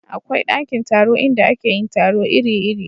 akwai ɗakin taro inda ake yin taro iri iri